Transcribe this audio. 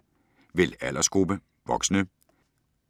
Vælg aldersgruppe: voksne